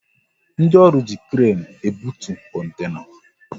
Ndị ọrụ ji kren ebutu kontena